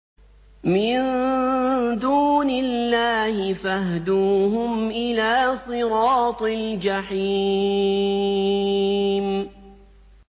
مِن دُونِ اللَّهِ فَاهْدُوهُمْ إِلَىٰ صِرَاطِ الْجَحِيمِ